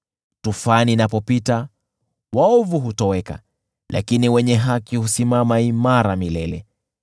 Tufani inapopita, waovu hutoweka, lakini wenye haki husimama imara milele.